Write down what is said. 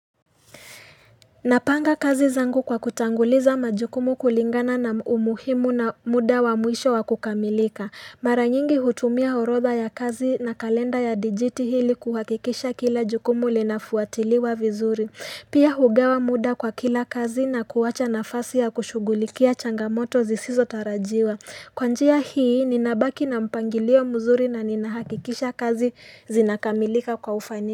Napanga kazi zangu kwa kutanguliza majukumu kulingana na umuhimu na muda wa mwisho wa kukamilika Mara nyingi hutumia orodha ya kazi na kalenda ya dijiti ili kuhakikisha kila jukumu linafuatiliwa vizuri Pia hugawa muda kwa kila kazi na kuwacha nafasi ya kushughulikia changamoto zisizotarajiwa Kwa njia hii ninabaki na mpangilio mzuri na ninahakikisha kazi zinakamilika kwa ufani.